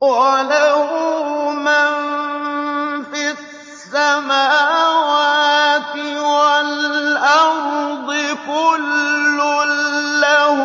وَلَهُ مَن فِي السَّمَاوَاتِ وَالْأَرْضِ ۖ كُلٌّ لَّهُ